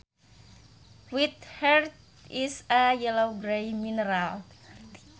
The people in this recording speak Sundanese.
Witherite is a yellow grey mineral